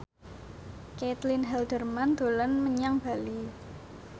Caitlin Halderman dolan menyang Bali